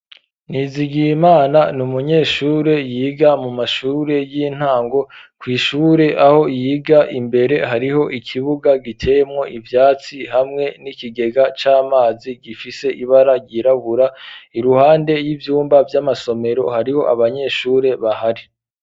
Ntizigiye imana ni umunyeshure yiga mu mashure y'intango kw'ishure aho yiga imbere hariho ikibuga gitemwo ivyatsi hamwe n'ikigega c'amazi gifise ibara ryirabura iruhande y'ivyumba vy'amasomero hariho abanyeshure bahari.